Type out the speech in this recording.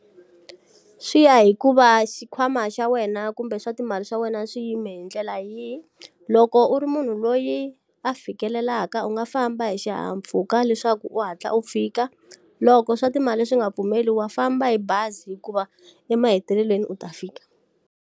Swi ya hi ku va xikhwama xa wena kumbe swa timali swa wena swi yime hi ndlela yihi. Loko u ri munhu loyi a fikelelaka u nga famba hi xihahampfhuka leswaku u hatla u fika. Loko swa timali swi nga pfumeli wa famba hi bazi hikuva, emahetelelweni u ta fika.